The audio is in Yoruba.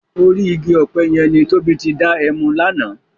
Órì igi òpè yèn ni Tobi ti dá èmú làná